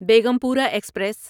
Begampura express